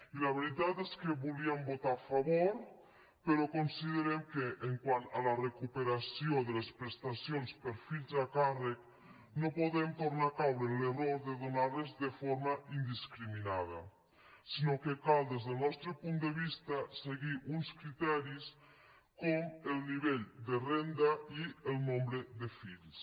i la veritat és que hi volíem votar a favor però considerem que quant a la recuperació de les presta cions per fills a càrrec no podem tornar caure en l’error de donar les de forma indiscriminada sinó que cal des del nostre punt de vista seguir uns criteris com el nivell de renda i el nombre de fills